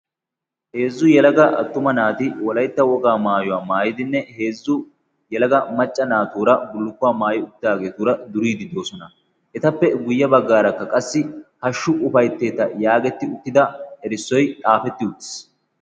heezzu yalaga attuma naati wolaytta wogaa maayuwaa maayidinne heezzu yalaga macca naatuura bullukkuwaa maayi uttidaageetuura duriidi doosona. etappe guyye baggaarakka qassi hashshu ufaytteeta yaagetti uttida erissoy xaafetti uttiis